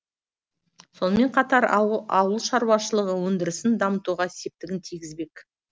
сонымен қатар ауыл ауыл шаруашылығы өндірісін дамытуға септігін тигізбек